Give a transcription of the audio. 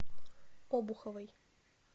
обуховой